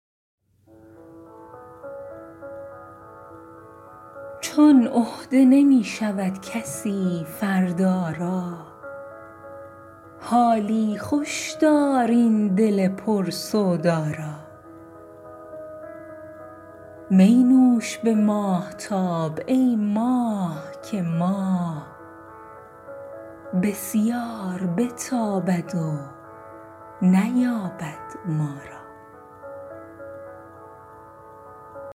چون عهده نمی شود کسی فردا را حالی خوش دار این دل پر سودا را می نوش به ماهتاب ای ماه که ماه بسیار بتابد و نیابد ما را